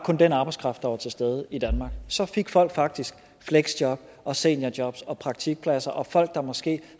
den arbejdskraft der var til stede i danmark så fik folk faktisk fleksjob og seniorjob og praktikpladser og folk der måske